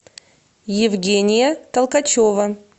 евгения толкачева